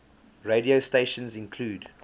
radio stations include